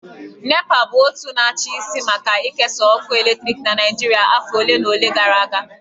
NEPA bụ otu na-achị isi maka ikesa ọkụ eletrik na Naịjirịa afọ ole na ole gara aga